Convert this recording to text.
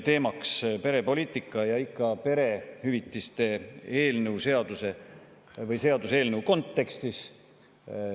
Teema on perepoliitika ja ikka perehüvitiste seaduseelnõu kontekstis.